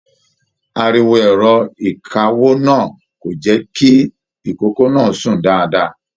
Ariwo ẹrọ ìkáwó náà kò jẹ kìí ìkoko náà sún dáadáa.